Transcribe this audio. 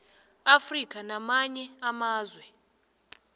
afrika nakamanye amazwe